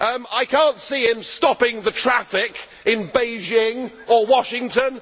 I cannot see him stopping the traffic in Beijing or Washington